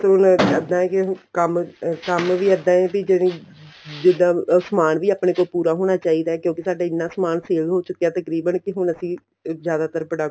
ਹੁਣ ਇੱਦਾਂ ਏ ਕੇ ਕੰਮ ਕੰਮ ਵੀ ਇੱਦਾਂ ਏ ਜਿਹੜੀ ਜਿੱਦਾ ਸਮਾਨ ਵੀ ਆਪਣੇ ਕੋਲ ਪੂਰਾ ਹੋਣਾ ਚਾਹੀਦਾ ਏ ਕਿਉਂਕਿ ਸਾਡਾ ਐਨਾ ਸਮਾਨ sale ਹੋ ਚੁੱਕਿਆ ਤਕਰੀਬਨ ਕੇ ਹੁਣ ਅਸੀਂ ਜਿਆਦਾਤਰ product